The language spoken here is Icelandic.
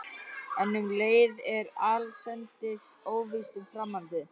En um leið er allsendis óvíst um framhaldið.